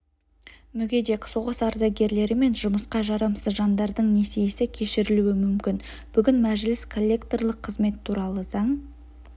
мүгедек соғыс ардагерлері мен жұмысқа жарамсыз жандардың несиесі кешірілуі мүмкін бүгін мәжіліс коллекторлық қызмет туралы заң